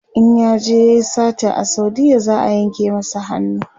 in yaje yayi sata a saudiya za'a yanka masa hannu